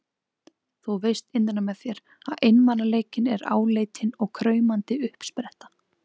Þú veist innra með þér að einmanaleikinn er áleitin og kraumandi uppspretta.